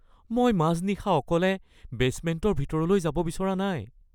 মই মাজনিশা অকলে বেচমেণ্টৰ ভিতৰলৈ যাব বিচৰা নাই